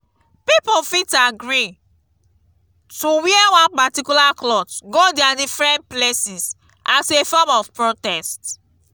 pipo fit agree to wear one particular cloth go their differents places as a form of protest